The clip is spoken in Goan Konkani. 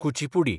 कुचिपुडी